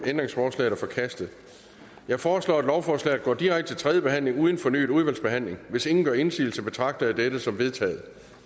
ændringsforslaget er forkastet jeg foreslår at lovforslaget går direkte til tredje behandling uden fornyet udvalgsbehandling hvis ingen gør indsigelse betragter jeg dette som vedtaget